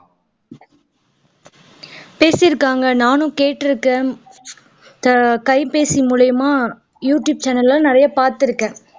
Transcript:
பேசி இருக்காங்க நானும் கேட்டுருக்கேன் கை பேசி மூலமா யூடியூப் channel எல்லாம் நிறைய பாத்திருக்கேன்